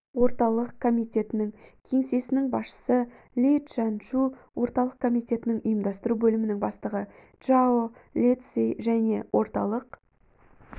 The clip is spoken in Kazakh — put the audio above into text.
орталық комитетінің кеңсесінің басшысы ли чжаньшу орталық комитетінің ұйымдастыру бөлімінің бастығы чжао лэцзи және орталық